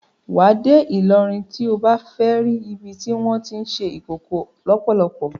Wà á dé Ìlọrin tí o bá fẹ́ ri ibi tí wọ́n tí ń ṣe Ìkòkò lọ́pọ́lọ́pọ́.